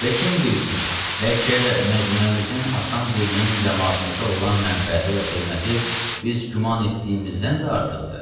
Və kim bilsin, bəlkə məcmuəmizin asan dilinin camaatımıza olan mənfəəti və xidməti biz güman etdiyimizdən də artıqdır.